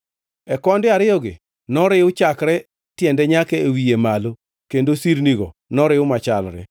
E konde ariyogi noriw chakre e tiende nyaka e wiye malo kendo sirnigo noriw machalre.